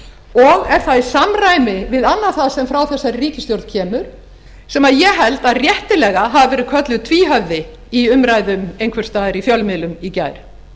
og er það í samræmi við annað það sem frá þessari ríkisstjórn kemur sem ég held að réttilega hafi verið kölluð tvíhöfði í umræðum einhvers staðar í fjölmiðlum í gær